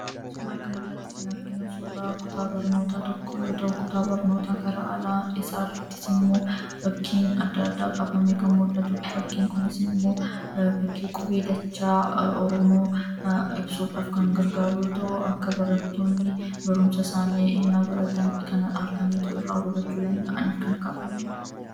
Suuraa kanarratti kan arginu suuraa kutaa barnoota tokkoo yoo ta'u, kutaa barnootaa gara alaa isaarrattis immoo fakkiin adda addaa kaafamee kan mul'atu dha. Fakkiin kunis immoo fakkii qubee dachaa Oromoo ibsuudhaaf kan gargaaru yoo ta'u, akka barattoonni barumsa isaanii innaa baratan kana arganii irraa hubachuu danda'aniif kan kaafame dha.